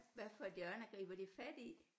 Hvad for et hjørne griber de fat i